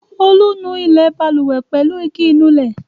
Olú nu ilẹ̀ balùwẹ̀ pẹ̀lú igi ìnulẹ̀.